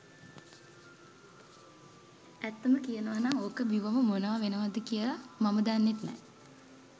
ඇත්තම කියනව නම් ඕක බිව්වම මොනව වෙනවද කියල මම දන්නෙත් නැහැ.